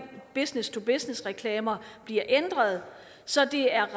business to business reklamer bliver ændret så det er